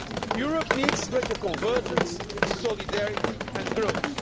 Europe needs greater convergence, solidarity and growth.